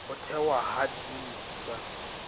ho thehwa ha diyuniti tsa